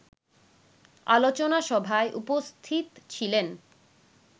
আলোচনা সভায় উপস্থিত ছিলেন